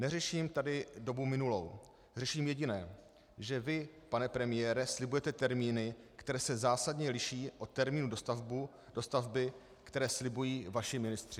Neřeším tady dobu minulou, řeším jediné - že vy, pan premiére, slibujete termíny, které se zásadně liší od termínů dostavby, které slibují vaši ministři.